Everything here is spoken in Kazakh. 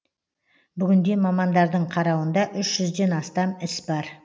бүгінде мамандардың қарауында үш жүзден астам іс бар